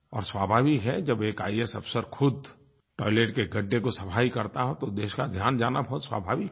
और स्वाभाविक है जब एक आईएएस अफ़सर खुद टॉयलेट के गड्ढे की सफ़ाई करता हो तो देश का ध्यान जाना बहुत स्वाभाविक है